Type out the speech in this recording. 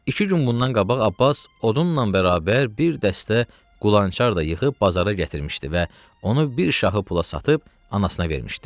İki gün bundan qabaq Abbas odunnan bərabər bir dəstə qulançar da yığıb bazara gətirmişdi və onu bir şahı pula satıb anasına vermişdi.